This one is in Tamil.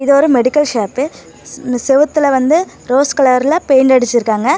இது ஒரு மெடிக்கல் ஷாப்பு இந்த செவுத்துல வந்து ரோஸ் கலர்ல பெயிண்ட் அடிச்சிருக்காங்க.